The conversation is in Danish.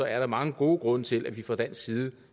er der mange gode grunde til at vi fra dansk side